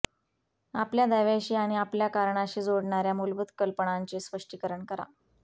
आपल्या दाव्याशी आणि आपल्या कारणाशी जोडणार्या मूलभूत कल्पनांचे स्पष्टीकरण करा